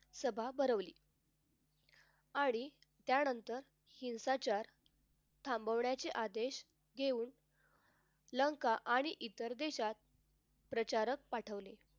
सभा भरवली. आणि त्यानंतर हिंसाचार थांबवण्याचे आदेश घेऊन लंका आणि इतर देशात प्रचारक पाठवले.